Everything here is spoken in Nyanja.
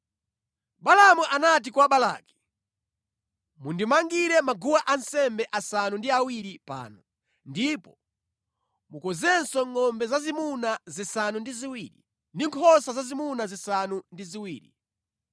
Balaamu anati kwa Balaki, “Mundimangire maguwa ansembe asanu ndi awiri pano, ndipo mukonzenso ngʼombe zazimuna zisanu ndi ziwiri ndi nkhosa zazimuna zisanu ndi ziwiri.”